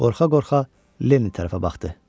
Qorxa-qorxa Lenni tərəfə baxdı.